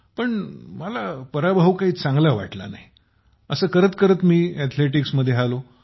पण मला पराभव चांगला वाटला नाही अस करत करत मी अथलेटिक्समध्ये आलो